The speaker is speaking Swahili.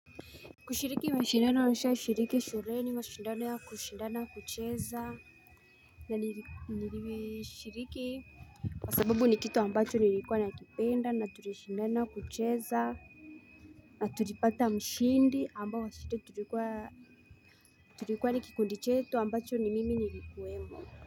Kushiriki mashindana nishashiriki shuleni ni mashindana ya kushindana kucheza na nilishiriki Kwa sababu ni kitu ambacho nilikuwa nakipenda na tulishindana kucheza na tulipata mshindi ambao wa shule tulikuwa Tulikuwa ni kikundi chetu ambacho ni mimi nilikuwemo.